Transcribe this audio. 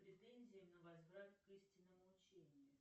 претензия на возврат к истинному учению